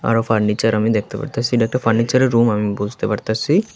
আরো ফার্নিচার আমি দেখতে পারতাছি এটা একটা ফার্নিচারের রুম আমি বুঝতে পারতাছি।